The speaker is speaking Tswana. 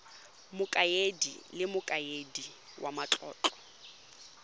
mokaedi le mokaedi wa matlotlo